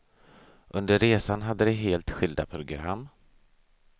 Under resan hade de helt skilda program.